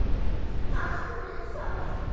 Haltu mér fast!